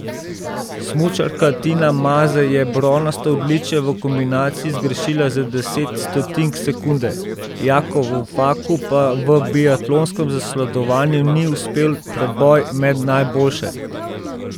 Smučarka Tina Maze je bronasto odličje v kombinaciji zgrešila za deset stotink sekunde, Jakovu Faku pa v biatlonskem zasledovanju ni uspel preboj med najboljše.